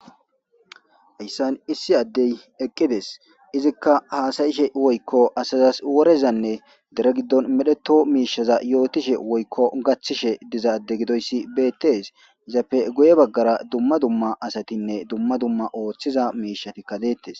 hayssan issi addey eqqides izikka haasayishe woykko asazas worezanne dere giddon medheto miishaza yootishe woykko gachthishe dizaade gidoyssi beettes izappe guye baggara dumma dumma asatinne dumma dumma ooththiza miishati kadeettes